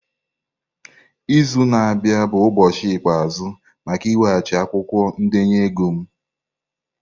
Izu na-abịa bụ ụbọchị ikpeazụ maka ị weghachi akwụkwọ ndenye ego m!